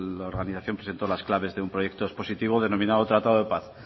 la organización presentó las claves de un proyecto expositivo denominado tratado de paz